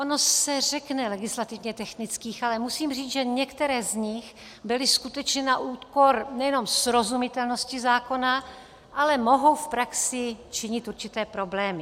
Ono se řekne legislativně technických, ale musím říct, že některé z nich byly skutečně na úkor nejenom srozumitelnosti zákona, ale mohou v praxi činit určité problémy.